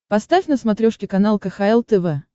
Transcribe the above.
поставь на смотрешке канал кхл тв